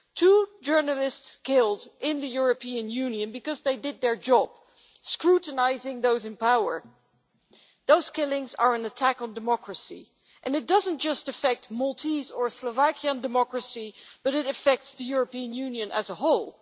Two journalists killed in the European Union because they did their job scrutinising those in power. Those killings are an attack on democracy, and it doesn't just affect Maltese or Slovakian democracy but it affects the European Union as a whole.